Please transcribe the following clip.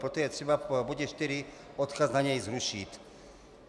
Proto je třeba v bodě 4 odkaz na něj zrušit.